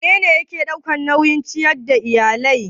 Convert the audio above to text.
Wanene yake ɗaukan nauyin ciyar da iyali?